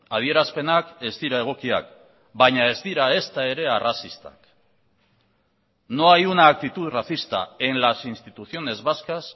adierazpenak ez dira egokiak baina ez dira ezta ere arrazistak no hay una actitud racista en las instituciones vascas